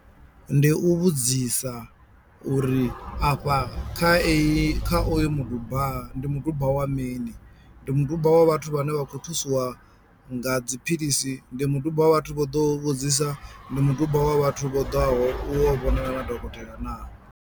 Ndi u vhudzisa uri afha kha eyi kha oyo muduba ndi muduba wa mini, ndi muduba wa vhathu vhane vha khou thusiwa nga dziphilisi, ndi muduba wa vhathu vho ḓo vhudzisa, ndi muduba wa vhathu vho ḓaho u yo vhonana na dokotela naa.